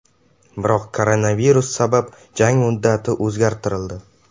Biroq koronavirus sabab jang muddati o‘zgartirildi.